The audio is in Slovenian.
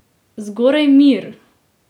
Zgoraj mir!